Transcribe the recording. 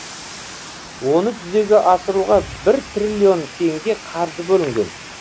оны жүзеге асыруға бір трлн теңге қаржы бөлінген